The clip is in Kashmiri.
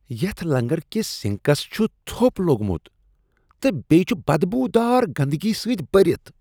یتھ لنگر كِس سِنکس چُھ تھوٚپ لوگمُت تہٕ بییِہ چُھ بدبوٗدار گندگی سۭتۍ بٔھرِتھ ۔